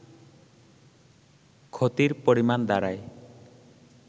ক্ষতির পরিমাণ দাড়ায়